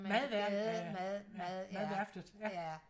madværftet madværftet ja